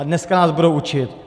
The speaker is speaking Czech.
A dneska nás budou učit!